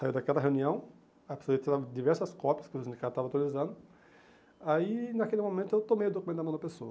Saiu daquela reunião, a pessoa ia tirar diversas cópias que os sindicatos estavam autorizando, aí, naquele momento, eu tomei o documento na mão da pessoa.